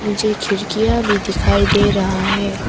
मुझे खिड़कियां भी दिखाई दे रहा है।